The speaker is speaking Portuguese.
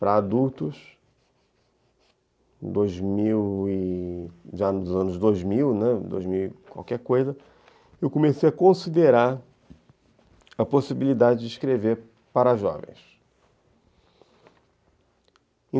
para adultos, dois mil e ... já nos anos dois mil, dois mil qualquer coisa, eu comecei a considerar a possibilidade de escrever para jovens.